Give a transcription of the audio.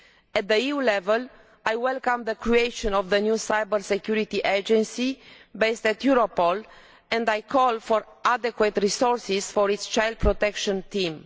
At the EU level, I welcome the creation of the new cyber security agency based at Europol and I call for adequate resources for its child protection team.